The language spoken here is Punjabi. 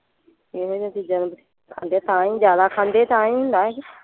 ਇਵੇਂ ਦਿਆਂ ਚੀਜ਼ਾਂ ਖਾਂਦੇ ਤਾਂ ਹੀ ਜਿਆਦਾ ਖਾਂਦੇ ਤਾਂ ਹੀ ਹੁੰਦਾ ਇਹ।